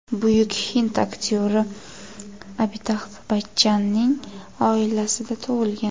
Buyuk hind aktyori Abitabx Bachchanning oilasida tug‘ilgan.